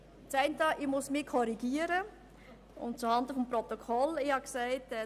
Das eine: Ich muss mich korrigieren – zuhanden des Protokolls.